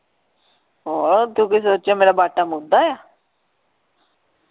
ਹੋਰ ਤੂੰ ਕੀ ਸੋਚਿਆ ਮੇਰਾ ਬਾਟਾ ਮੁੱਧਾ ਆ .